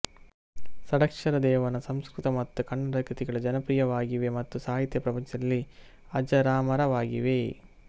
ಷಡಕ್ಷರದೇವನ ಸಂಸ್ಕೃತ ಮತ್ತು ಕನ್ನಡ ಕೃತಿಗಳು ಜನಪ್ರೀಯವಾಗಿವೆ ಮತ್ತು ಸಾಹಿತ್ಯ ಪ್ರಪಂಚದಲ್ಲಿ ಅಜರಾಮರವಾಗಿವೆ